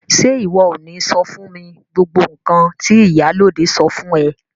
Ṣe iwọ o ni sọ fún mi gbogbo nkan ti ìyálóde sọ fún ẹ?